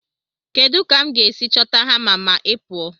Kedu ka m ga-esi chọta hama ma ị pụọ?